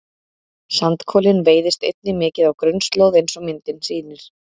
sandkolinn veiðist einnig mikið á grunnslóð eins og myndin sýnir